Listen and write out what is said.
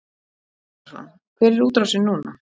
Sindri Sindrason: Hver er útrásin núna?